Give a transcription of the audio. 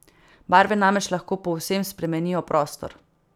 Barve namreč lahko povsem spremenijo prostor.